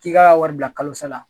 K'i' ka wari bila kalosa la.